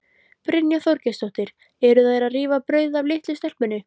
Brynja Þorgeirsdóttir: Eru þær að rífa brauðið af litlu stelpunni?